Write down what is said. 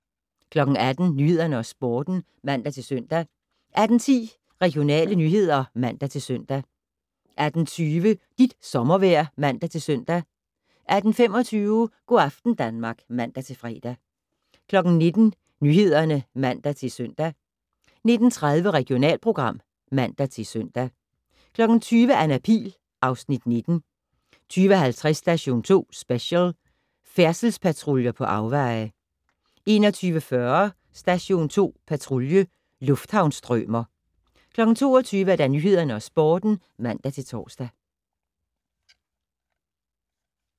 18:00: Nyhederne og Sporten (man-søn) 18:10: Regionale nyheder (man-søn) 18:20: Dit sommervejr (man-søn) 18:25: Go' aften Danmark (man-fre) 19:00: Nyhederne (man-søn) 19:30: Regionalprogram (man-søn) 20:00: Anna Pihl (Afs. 19) 20:50: Station 2 Special: Færdselspatruljer på afveje 21:40: Station 2 Patrulje: Lufthavnsstrømer 22:00: Nyhederne og Sporten (man-tor)